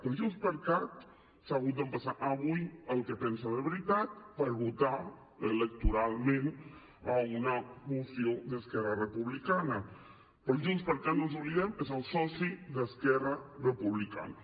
però junts per cat s’ha hagut d’empassar avui el que pensa de veritat per votar electoralment una moció d’esquerra republicana perquè junts per cat no ens n’oblidem és el soci d’esquerra republicana